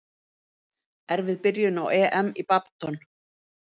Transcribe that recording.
Erfið byrjun á EM í badminton